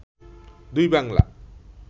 দুই বাংলা